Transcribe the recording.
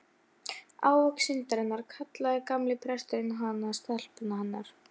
Hluthafafundi ber þá að verða við kröfu minnihlutans.